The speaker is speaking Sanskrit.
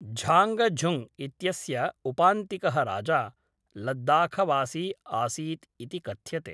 झाङ्गझुङ्ग् इत्यस्य उपान्तिकः राजा, लद्दाखवासी आसीत् इति कथ्यते।